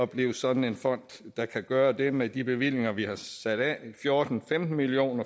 blive sådan en fond der kan gøre det med de bevillinger vi har sat af i fjorten femten million